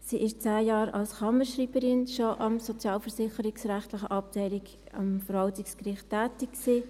Sie war schon zehn Jahre als Kammerschreiberin an der sozialversicherungsrechtlichen Abteilung des Verwaltungsgerichts tätig.